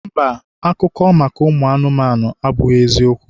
Mba, akụkọ maka ụmụanụmanụ abụghị eziokwu